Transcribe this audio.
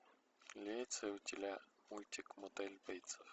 имеется ли у тебя мультик мотель бейтсов